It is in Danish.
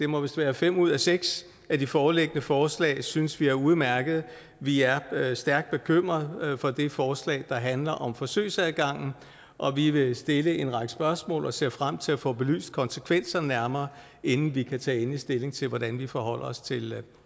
må være fem ud af seks af de foreliggende forslag vi synes er udmærkede vi er stærkt bekymret for det forslag der handler om forsøgsadgangen og vi vil stille en række spørgsmål og ser frem til at få belyst konsekvenserne nærmere inden vi kan tage endelig stilling til hvordan vi forholder os til